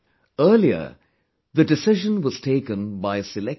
Earlier, the decision was taken by a select few